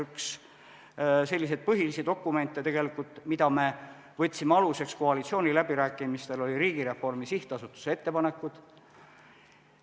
Üks selliseid põhilisi dokumente, mille me võtsime aluseks koalitsiooniläbirääkimistel, oli Riigireformi SA ettepanekud.